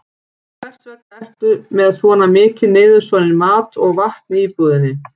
Hvers vegna ertu með svona mikinn niðursoðinn mat og vatn í íbúðinni?